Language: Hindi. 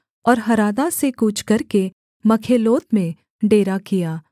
और हरादा से कूच करके मखेलोत में डेरा किया